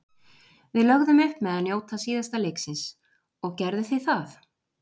Við lögðum upp með að njóta síðasta leiksins. Og gerðu þið það?